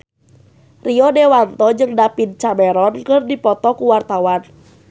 Rio Dewanto jeung David Cameron keur dipoto ku wartawan